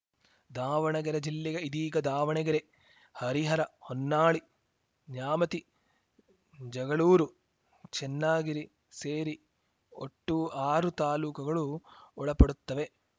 ದಾವಣಗೆರೆ ಜಿಲ್ಲೆಗೆ ಇದೀಗ ದಾವಣಗೆರೆ ಹರಿಹರ ಹೊನ್ನಾಳಿ ನ್ಯಾಮತಿ ಜಗಳೂರು ಚೆನ್ನಗಿರಿ ಸೇರಿ ಒಟ್ಟು ಆರು ತಾಲೂಕುಗಳು ಒಳಪಡುತ್ತವೆ